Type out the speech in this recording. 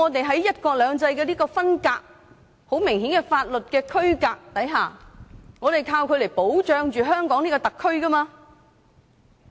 在"一國兩制"的分隔和很明顯的法律區隔下，我們是依靠《基本法》來保障香港特區的。